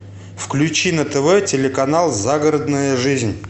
включи на тв телеканал загородная жизнь